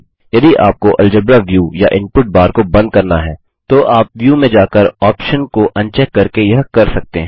यदि आपको algebra view या इनपुट बार को बंद करना है तो आप व्यू में जाकर उस ऑप्शन को अनचेक करके यह कर सकते हैं